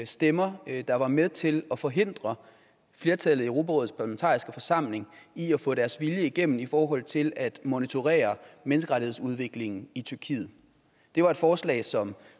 stemmer der var med til at forhindre flertallet i europarådets parlamentariske forsamling i at få deres vilje igennem i forhold til at monitorere menneskerettighedsudviklingen i tyrkiet det var et forslag som